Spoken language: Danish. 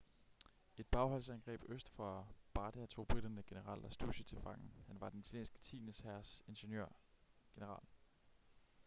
i et bagholdsangreb øst for bardia tog briterne general lastucci til fange han var den italienske tiende hærs ingeniør-general